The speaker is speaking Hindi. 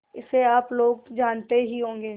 इसे आप लोग जानते ही होंगे